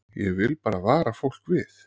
Ég vil bara vara fólk við.